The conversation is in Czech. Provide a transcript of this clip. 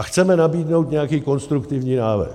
A chceme nabídnou nějaký konstruktivní návrh.